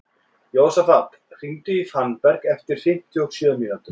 Jósafat, hringdu í Fannberg eftir fimmtíu og sjö mínútur.